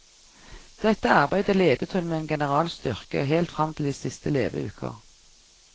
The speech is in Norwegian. Dette arbeidet ledet hun med en generals styrke helt frem til de siste leveuker.